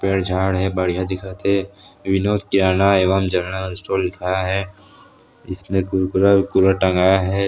पेड़-झाड़ हे बढ़िया दिखत हे विनोद किराना एवम जनरल स्टोर लिखाये हे इसने कुरकुरा उरकुरा टंगाये हे।